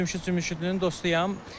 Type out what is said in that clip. Cəmşid Cəmşidlinin dostuyam.